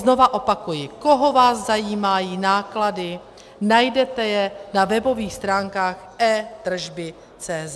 Znova opakuji, koho vás zajímají náklady, najdete je na webových stránkách etrzby.cz.